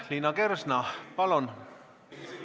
Liina Kersna, palun!